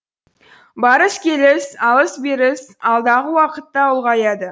барыс келіс алыс беріс алдағы уақытта да ұлғаяды